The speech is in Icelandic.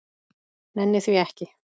Nenni því ekki